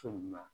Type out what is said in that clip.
So la